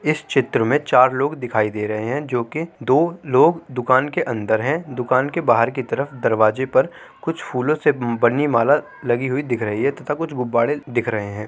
इस क्षेत्र मै चार लोग दिखाई दे रहे है जोकि दो लोग दुकान के अंदर है दुकान के बाहर की तरफ दरवाजे पर कुछ फूलो से बनी माला लगी हुइ दिख रही है तथा कुछ गुब्बारे दिख रहे है।